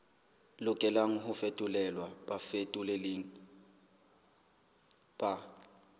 lokelang ho fetolelwa bafetoleding ba